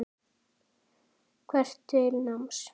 Hvetur til náms.